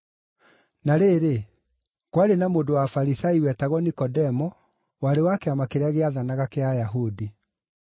Na rĩrĩ, kwarĩ na mũndũ wa Afarisai wetagwo Nikodemo, warĩ wa kĩama kĩrĩa gĩathanaga kĩa Ayahudi.